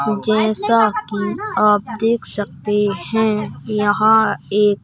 जैसा कि आप देख सकते हैं यहां एक--